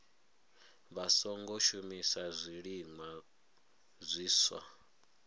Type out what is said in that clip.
vha songo shumisa zwiliṅwa zwiswa